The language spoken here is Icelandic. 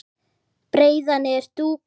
breiða niður dúka